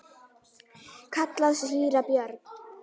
kallaði síra Björn.